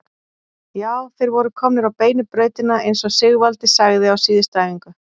Já, þeir voru komnir á beinu brautina eins og Sigvaldi sagði á síðustu æfingu.